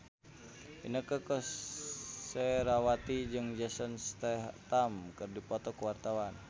Inneke Koesherawati jeung Jason Statham keur dipoto ku wartawan